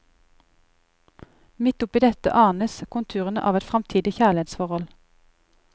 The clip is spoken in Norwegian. Midt oppi dette anes konturene av et framtidig kjærlighetsforhold.